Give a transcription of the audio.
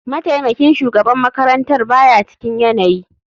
Mataimakin shugaban makarantar ba ya cikin yanayi.